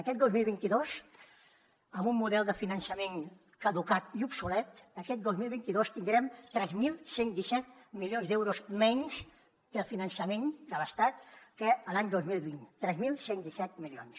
aquest dos mil vint dos amb un model de finançament caducat i obsolet tindrem tres mil cent i disset milions d’euros menys de finançament de l’estat que l’any dos mil vint tres mil cent i disset milions